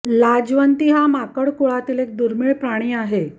लाजवंती हा माकड कुळातील एक दुर्मीळ प्राणी आहे